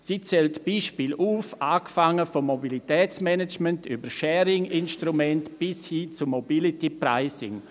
Diese zeigt Beispiele auf, angefangen beim Mobilitätsmanagement über Sharing-Instrumente bis hin zu Mobility-Pricing.